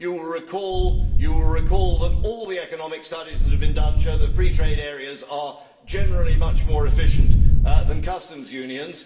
You will recall that all the economic studies that have been done show that free trade areas are generally much more efficient than customs unions.